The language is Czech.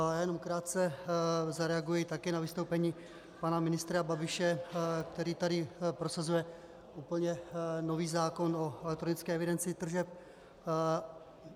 Já jenom krátce zareaguji také na vystoupení pana ministra Babiše, který tady prosazuje úplně nový zákon o elektronické evidenci tržeb.